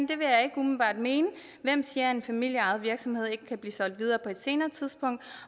det vil jeg ikke umiddelbart mene hvem siger at en familieejet virksomhed ikke kan blive solgt videre på et senere tidspunkt